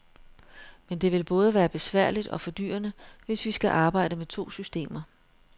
Men det vil både være besværligt og fordyrende, hvis vi skal arbejde med to systemer.